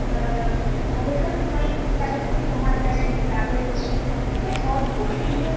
অবসর সময় তাদের সাথে সময় কাটায় সেই গ্রামের লোকজনের সঙ্গে মানে অদ্ভুত সুন্দরভাবে